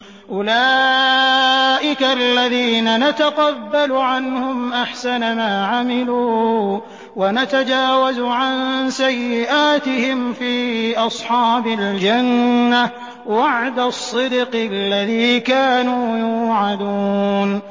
أُولَٰئِكَ الَّذِينَ نَتَقَبَّلُ عَنْهُمْ أَحْسَنَ مَا عَمِلُوا وَنَتَجَاوَزُ عَن سَيِّئَاتِهِمْ فِي أَصْحَابِ الْجَنَّةِ ۖ وَعْدَ الصِّدْقِ الَّذِي كَانُوا يُوعَدُونَ